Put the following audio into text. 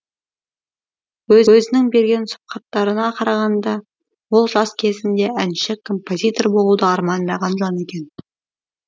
өзінің берген сұхбаттарына қарағанда ол жас кезінде әнші композитор болуды армандаған жан екен